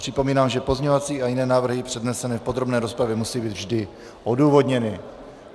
Připomínám, že pozměňovací a jiné návrhy přednesené v podrobné rozpravě musí být vždy odůvodněny.